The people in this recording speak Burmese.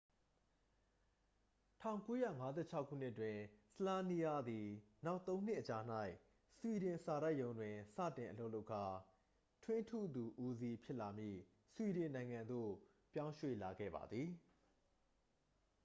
၁၉၅၆ ခုနှစ်တွင် słania သည် နောက်သုံးနှစ်အကြာ၌ ဆွီဒင်စာတိုက်ရုံးတွင် စတင်အလုပ်လုပ်ကာ ထွင်းထုသူဦးစီး ဖြစ်လာမည့် ဆွီဒင်နိုင်ငံသို့ပြောင်းရွှေ့လာခဲ့ပါသည်။